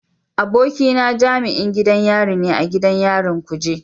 Abokina jami'in gidan yari ne a gidan yarin kuje.